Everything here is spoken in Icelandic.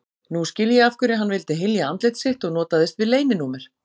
Nú skil ég af hverju hann vildi hylja andlit sitt og notaðist við leyninúmer.